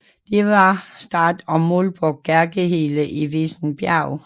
Der var start og mål på Kirkehelle i Vissenbjerg